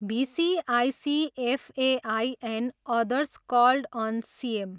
भिसी ICFAI and others called on CM.